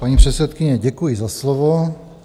Paní předsedkyně, děkuji za slovo.